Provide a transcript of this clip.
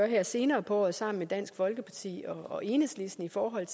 her senere på året sammen med dansk folkeparti og enhedslisten for at